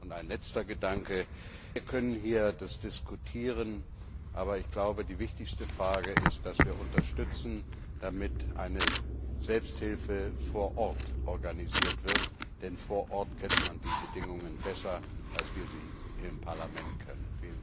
Ein letzter Gedanke Wir können hier diskutieren, aber am wichtigsten ist es, dass wir unterstützen, damit eine Selbsthilfe vor Ort organisiert wird, denn vor Ort kennt man die Bedingungen besser, als wir sie im Parlament kennen.